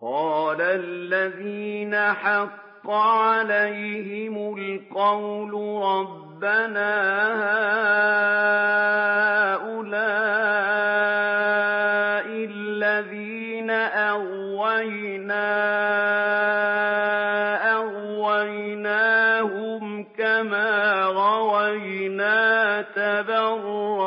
قَالَ الَّذِينَ حَقَّ عَلَيْهِمُ الْقَوْلُ رَبَّنَا هَٰؤُلَاءِ الَّذِينَ أَغْوَيْنَا أَغْوَيْنَاهُمْ كَمَا غَوَيْنَا ۖ تَبَرَّأْنَا